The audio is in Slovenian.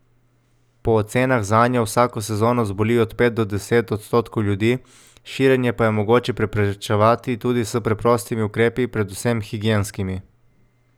Po ocenah zanjo vsako sezono zboli od pet do deset odstotkov ljudi, širjenje pa je mogoče preprečevati tudi s preprostimi ukrepi, predvsem higienskimi.